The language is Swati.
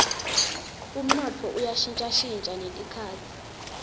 umnotfo uya shintjashintja netikhatsi